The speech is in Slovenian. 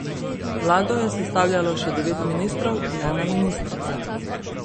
Vlado je sestavljalo še devet ministrov in ena ministrica.